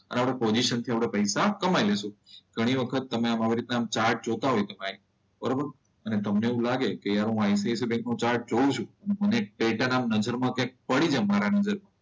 અને આપણી પોઝીશન થી આપણે પૈસા કમાઈ જઈશ. ઘણી વખત તમે આમાં આવી રીતે ચાટ જોતા હોય કે ભાઈ બરોબર. અને તમને એવું લાગે હું આઈસીઆઈસીઆઈ બેન્કનો ચાર્ટ જોઉં છું